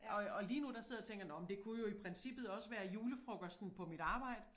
Og og lige nu der sidder jeg og tænker nåh men det kunne jo i princippet også være julefrokosten på mit arbejde